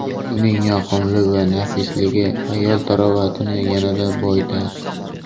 Uning yoqimli va nafisligi ayol tarovatini yanada boyitadi.